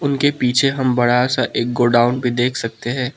उनके पीछे हम बड़ा सा एक गोडाउन भी देख सकते हैं।